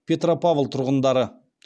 петропавл тұрғындары